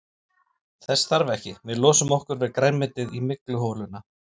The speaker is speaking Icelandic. Þess þarf ekki, við losum okkur við grænmetið í mygluholuna.